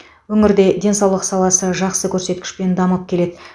өңірде денсаулық саласы жақсы көрсеткішпен дамып келеді